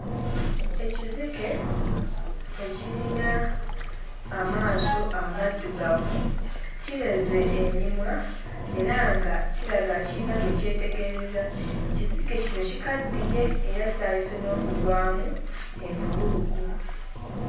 Ekizike ekirina amaaso amaddugavu kibeze emimwa era nga kiraga kirina gwe kyetegereza kizige kino kikaddiye era kitandise n'okugwamu embugubugu.